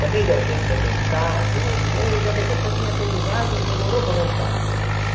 Também deu tempo de eu pensar tudo, e ele, ainda depois que eu tinha terminado, demorou para voltar.